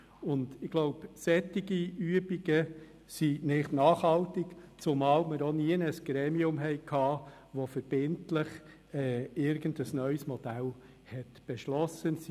Solche Übungen sind nicht nachhaltig, zumal es auch kein Gremium gibt, das verbindlich ein neues Modell beschlossen hat.